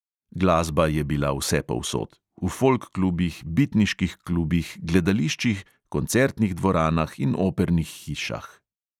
Glasba je bila vsepovsod: v folk klubih, bitniških klubih, gledališčih, koncertnih dvoranah in opernih hišah.